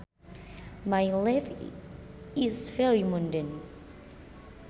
My life is very mundane